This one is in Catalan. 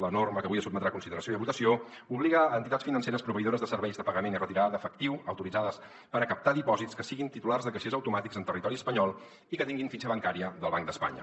la norma que avui sotmetrà a consideració i a votació obliga entitats financeres proveïdores de serveis de pagament i retirada d’efectiu autoritzades per captar dipòsits que siguin titulars de caixers automàtics en territori espanyol i que tinguin fitxa bancària del banc d’espanya